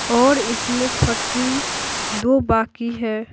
और इसमें फटरी दो बाकी है।